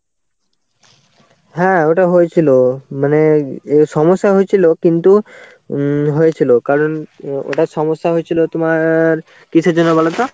হ্যাঁ ওটা হয়েছিল. মানে অ্যাঁ সমস্যা হয়েছিল কিন্তু উম হয়েছিল. কারণ অ্যাঁ ওটার সমস্যা হয়েছিল তোমার কিসের জন্য বলতো?